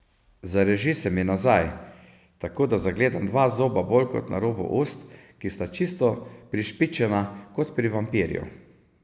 Zareži se mi nazaj, tako da zagledam dva zoba bolj na robu ust, ki sta čisto prišpičena, kot pri vampirju.